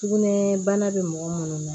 Sugunɛ bana bɛ mɔgɔ minnu na